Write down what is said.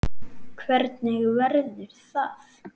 Hvernig verður það?